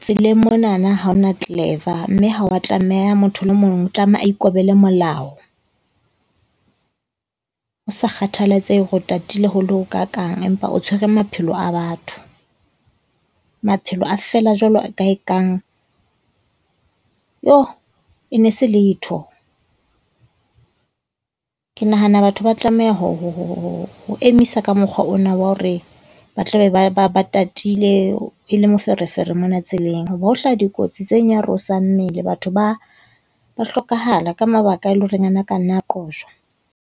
tseleng monana ha ho na clever. Mme ha o a tlameha motho le mong tlameha ikobele molao. Ho sa kgathalatsehe hore o tatile ho le ho kakaang empa o tshwere maphelo a batho. Maphelo a fela jwalo ka e kang, yho, e ne e se letho. Ke nahana batho ba tlameha ho emisa ka mokgwa ona wa hore ba tla be ba ba ba tatile e le moferefere mona tseleng, ho bo hlaha dikotsi tse nyarosang mmele. Batho ba ba hlokahala ka mabaka e leng hore a na a ka nna a qojwa.